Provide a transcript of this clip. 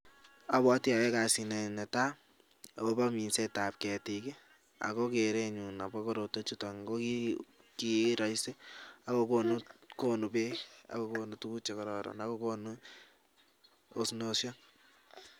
Abwoti oyoe kasini netaa akobo minsetab ketik ak ko kerenyun akobo korotwechuton ko kiroisi ak kokonu beek ak kokonu tukuk chekororon ak kokonu osnoshek.